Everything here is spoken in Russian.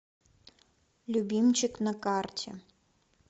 любимчик на карте